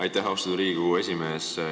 Aitäh, austatud Riigikogu esimees!